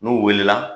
N'u wulila